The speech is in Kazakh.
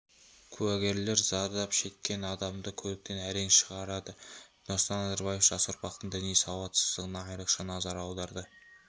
куәгерлер зардап шеккен адамды көліктен әрең шығарды нұрсұлтан назарбаев жас ұрпақтың діни сауатсыздығына айрықша назар аударды